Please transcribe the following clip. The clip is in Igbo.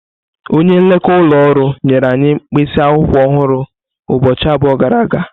Onye nlekọta ụlọ ọrụ nyere anyị mkpịsị akwụkwọ ọhụrụ ụbọchị abụọ gara aga.